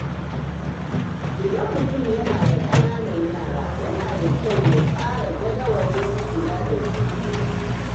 Idan mutum yana da ƙananan yara, yana da kyau ya tsara jadawalin kula da su.